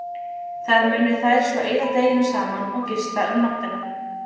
Þar munu þær svo eyða deginum saman og gista um nóttina.